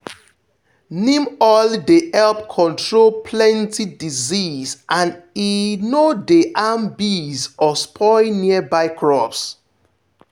neem oil dey help control plenty disease and e e no dey harm bees or spoil nearby crops.